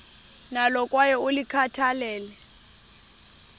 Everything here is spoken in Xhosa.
nalo kwaye ulikhathalele